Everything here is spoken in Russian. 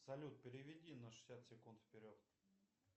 салют переведи на шестьдесят секунд вперед